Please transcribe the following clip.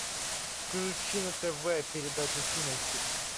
включи на тв передачу кинохит